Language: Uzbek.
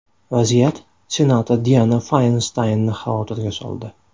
Vaziyat senator Diana Faynstaynni xavotirga soldi.